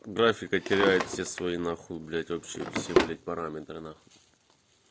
графика теряет все свои нахуй блять вообще блять параметры нахуй